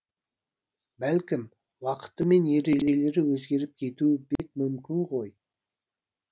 бәлкім уақыты мен ережелері өзгеріп кетуі бек мүмкін ғой